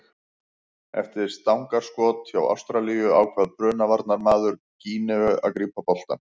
Eftir stangarskot hjá Ástralíu ákvað Bruna varnarmaður Gíneu að grípa boltann.